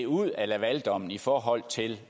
ud af lavaldommen i forhold til